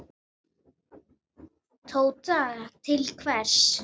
Tóta: Til hvers?